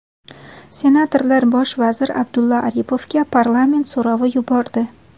Senatorlar bosh vazir Abdulla Aripovga parlament so‘rovi yubordi.